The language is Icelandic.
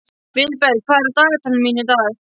Vilberg, hvað er á dagatalinu mínu í dag?